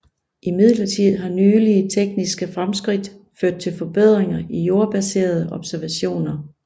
Imidlertid har nylige tekniske fremskridt ført til forbedringer i jordbaserede observationer